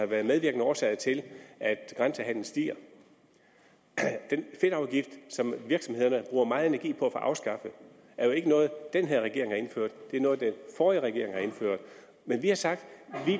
været en medvirkende årsag til at grænsehandelen stiger den fedtafgift som virksomhederne bruger meget energi på at få afskaffet er jo ikke noget den her regering har indført det er noget den forrige regering har indført men vi har sagt